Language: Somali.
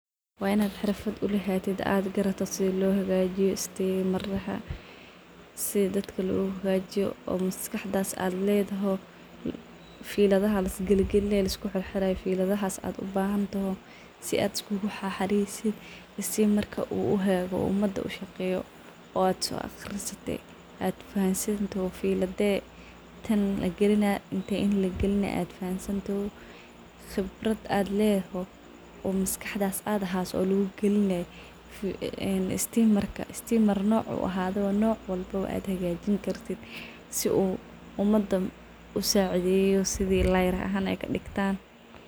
Wa in xirfad aed ulahatid ad garato sida lohagajiyo stimaraha, sida dadka luhagajiyo oo maskaxdas ad ledaho, filidaha lisgalgalinayo ad ubahanto , umada ad uhagajiso ad so aqrisate , qibrad ad ledaho ad so aqrisate , xifad ay ubahantahay , sida umada ad usacideyo filade lagalinah , te in lagalinah , stimar nocuu ahadabo, si uu umada usacideyo layr ahaan kadigtan.